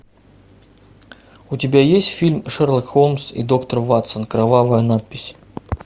у тебя есть фильм шерлок холмс и доктор ватсон кровавая надпись